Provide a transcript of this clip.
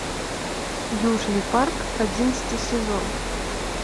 южный парк одиннадцатый сезон